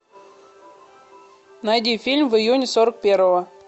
найди фильм в июне сорок первого